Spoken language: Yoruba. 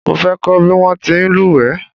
Mo fẹ́ kọ́ bí wọ́n ti ń lúwẹ̀ẹ́